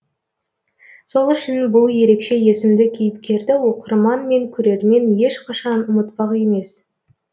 сол үшін бұл ерекше есімді кейіпкерді оқырман мен көрермен ешқашан ұмытпақ емес